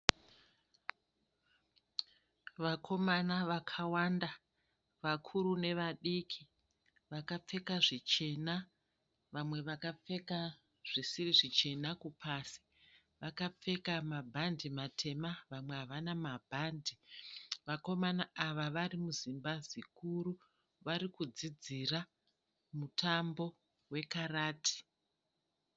Vakomana vakawanda, vakuru nevadiki, vakapfeka zvichena, vamwe vakapfeka zvisiri zvichena kupasi. Vakapfeka mabhande matema, vamwe havana mabhande. Vakomana ava varimuzimba zikuru, varikudzidzira mutambo wekarati.